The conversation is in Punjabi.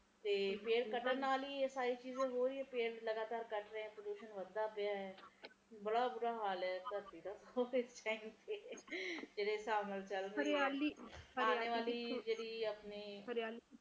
ਤੇ ਪੇੜ ਕੱਟਣ ਨਾਲ ਇਹ ਸਾਰਾ ਪ੍ਰਦੂਸ਼ਣ ਵੱਧ ਰਿਹਾ ਹੈ ਬੜਾ ਬੁਰਾ ਹਾਲ ਹੈ ਧਰਤੀ ਦਾ ਜਿਹੜੇ ਸਾਬ ਨਾਲ ਚਲ ਰਹੇ ਹੈ ਆਉਣ ਵਾਲੀ ਹਰਿਆਲੀ